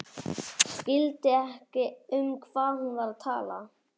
Skildi ekki um hvað hún var að tala.